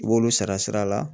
I b'olu sara sira la